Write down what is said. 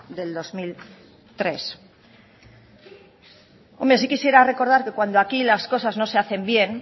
del dos mil tres hombre sí quisiera recordar que cuando aquí las cosas no se hacen bien